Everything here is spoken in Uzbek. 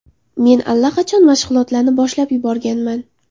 Men allaqachon mashg‘ulotlarni boshlab yuborganman.